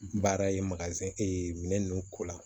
Baara ye ee minɛn ninnu ko la